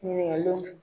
Ɲininkaliw